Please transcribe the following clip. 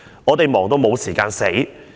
我哋忙到無時間死！